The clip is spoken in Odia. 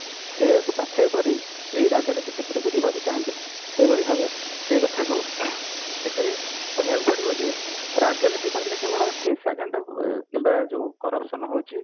ସେଇଆ କୁ ପାଥେୟ କରି ଏଇ ରାଜନୀତି କ୍ଷେତ୍ର କୁ ଯିବାକୁ ଚାହାନ୍ତି ନାହିଁ ସେଇଭଳି ଭାବେ ସେଇ କଥା କୁ ଏଠାରେ କହିବାକୁ ପଡିବ ଯେ ରାଜନୀତି କହିଲେ କେବଳ ହିଂସା କାଣ୍ଡ କିମ୍ବା ଯୋଉ corruption ହଉଛି